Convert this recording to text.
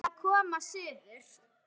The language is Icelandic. Þau verða að koma suður!